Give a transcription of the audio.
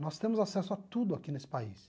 Nós temos acesso a tudo aqui nesse país.